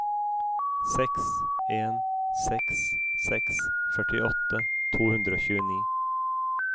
seks en seks seks førtiåtte to hundre og tjueni